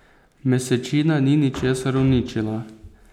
Mesečina ni ničesar uničila.